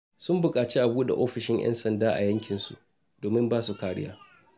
Sun buƙaci a buɗe ofishin 'yan sanda a yankinsu domin ba su kariya.